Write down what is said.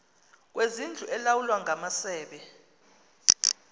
kwezindlu elawulwa ngamasebe